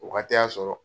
O waati y'a sɔrɔ